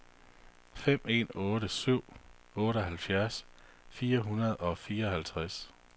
fem en otte syv otteoghalvfjerds fire hundrede og fireoghalvtreds